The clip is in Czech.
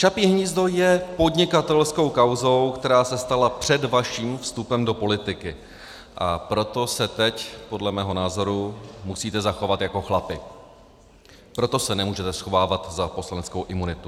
Čapí hnízdo je podnikatelskou kauzou, která se stala před vaším vstupem do politiky, a proto se teď podle mého názoru musíte zachovat jako chlapi, proto se nemůžete schovávat za poslaneckou imunitu.